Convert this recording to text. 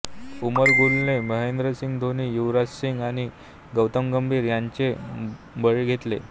उमर गुल ने महेंद्रसिंग धोनी युवराजसिंग आणि गौतम गंभीर यांचे बळी घेतले